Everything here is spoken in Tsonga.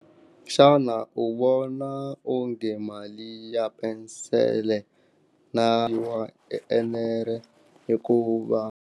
Xana u vona onge mali ya pensele na enere hikuva.